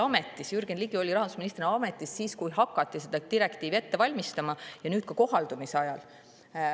Jürgen Ligi oli rahandusministri ametis siis, kui seda direktiivi hakati ette valmistama, ja on ka nüüd, selle kohaldamise ajal.